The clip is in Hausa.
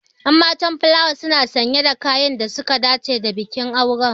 Ƴan matan fulawa suna sanye da kayan da suka dace da bikin auren.